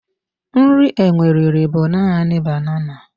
Nri enwe riri bụ naanị banana.